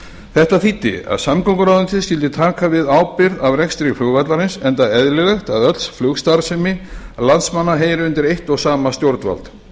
þetta þýddi að samgönguráðuneytið skyldi taka við ábyrgð af rekstri flugvallarins enda eðlilegt að öll flugstarfsemi landsmanna heyri undir eitt og sama stjórnvald